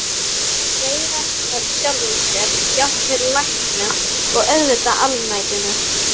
Reiðast sjálfum sér, jafnvel læknum- og auðvitað almættinu.